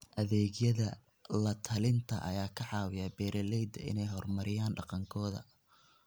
Adeegyada la-talinta ayaa ka caawiya beeralayda inay horumariyaan dhaqankooda.